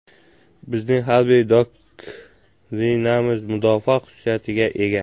Bizning harbiy doktrinamiz mudofaa xususiyatiga ega.